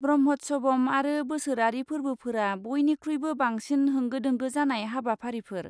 ब्रह्म'त्सवम आरो बोसोरारि फोर्बोफोरा बयनिख्रुइबो बांसिन होंगो दोंगो जानाय हाबाफारिफोर।